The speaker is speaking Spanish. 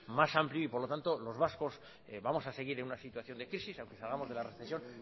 más amplio y por lo tanto los vascos vamos a seguir en una situación de crisis aunque salgamos de la recesión